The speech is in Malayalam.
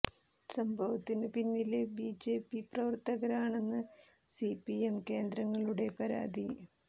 സംഭവത്തിനു പിന്നില് ബി ജെ പി പ്രവര്ത്തകരാണെന്നാണ് സി പി എം കേന്ദ്രങ്ങളുടെ പരാതി